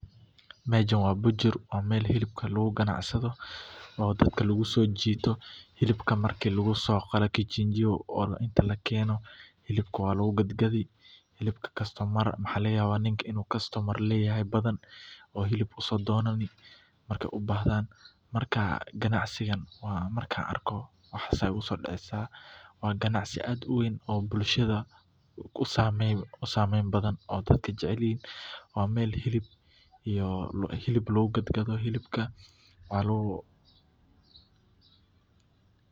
Meshan wa bujur wa meel hilibka lagugado wa mel dadaka lagusojito hilibka marki lagusogalo kijinjio oo inta lakeno hilubka wa lagugadgadi hilubka customer aya lagayawa inu leyahay badan oo hilib usodonani markay ubajdan marka ganacsigaan markan arko waxas aya igusodeceysa wa ganacdi aad uweyn oo bulshada usameyn badan oo dadka jecelyihi wa meel hilubka looda lagugadgado waxa lagugadgada oo .